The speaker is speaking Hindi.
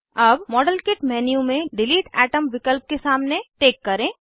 अब मॉडेलकिट मेन्यू में डिलीट अतोम विकल्प के सामने टिक करें